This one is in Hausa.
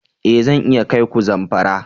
Ee! Zan iya kai ku Zamfara.